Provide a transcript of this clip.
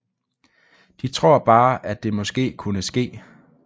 De tror bare at det måske kunne ske